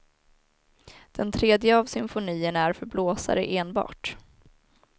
Den tredje av symfonierna är för blåsare enbart.